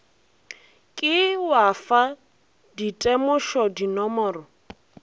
ke wa fa ditemošo dinomoro